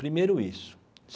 Primeiro isso.